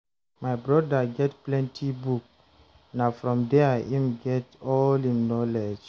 My broda get plenty book, na from there im get all im knowledge.